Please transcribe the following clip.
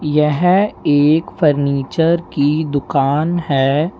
यह एक फर्नीचर की दुकान है।